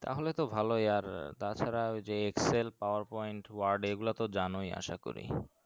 তাহলে তো ভালোই আর তাছাড়া ওই যে excel power point word এগুলাতো জানোই আসা করি